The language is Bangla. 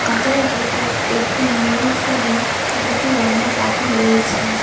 ভেতর একটি ময়ূরসহ দুটি অন্য পাখি রয়েছে।